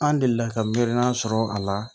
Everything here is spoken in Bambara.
An delila ka miliyɔn naani sɔrɔ a la